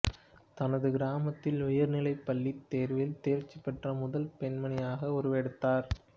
தனது கிராமத்தில் உயர்நிலைப் பள்ளித் தேர்வில் தேர்ச்சி பெற்ற முதல் பெண்மணியாக உருவெடுத்தார்